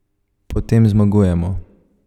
Potem zmagujemo.